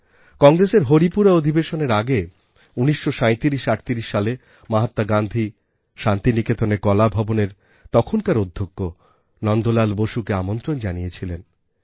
কংগ্রেসের হরিপুরা অধিবেশনের আগে ১৯৩৭৩৮ সালে মহাত্মা গান্ধী শান্তিনিকেতনের কলাভবনের তখনকার অধ্যক্ষ নন্দলাল বোসকে আমন্ত্রণ জানিয়েছিলেন